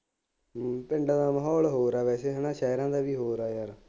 ਹੂੰ ਪਿੰਡਾਂ ਦਾ ਮਾਹੌਲ ਹੋਰ ਆ ਵੈਸੇ ਹੈ ਨਾ ਸ਼ਹਿਰਾਂ ਦਾ ਵੀ ਹੋਰ ਹੈ ਯਾਰ